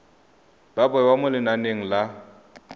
ba bewa mo lenaneng la